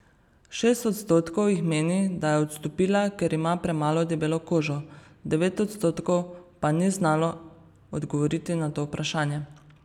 Šest odstotkov jih meni, da je odstopila, ker ima premalo debelo kožo, devet odstotkov pa ni znalo odgovoriti na to vprašanje.